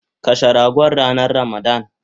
Kashe ragon ranan ramadan